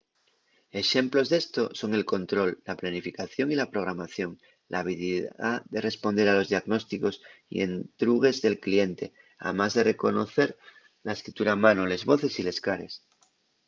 exemplos d’esto son el control la planificación y la programación l’habilidá de responder a los diagnósticos y entrugues del cliente amás de reconocer la escritura a mano les voces y les cares